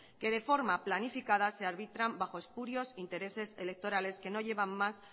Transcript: que de forma planificada se arbitran bajo espurios intereses electorales que no llevan más